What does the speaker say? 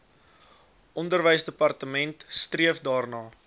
onderwysdepartement streef daarna